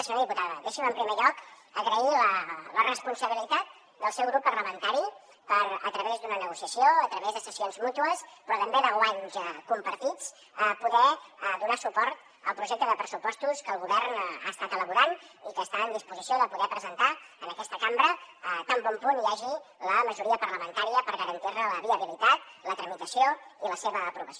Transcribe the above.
senyora diputada deixi’m en primer lloc agrair la responsabilitat del seu grup parlamentari per a través d’una negociació a través de cessions mútues però també de guanys compartits poder donar suport al projecte de pressupostos que el govern ha estat elaborant i que està en disposició de poder presentar en aquesta cambra tan bon punt hi hagi la majoria parlamentària per garantirne la viabilitat la tramitació i la seva aprovació